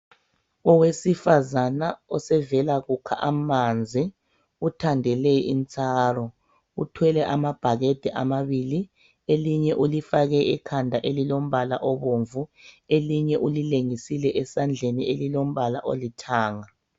Owesifazana osevela kukha amanzi uthandele itsaro uthwele amabhakede amabili elinye ulifake ekhanda elilombala obomvu elinye ulilengise esandleni elilombala olithanga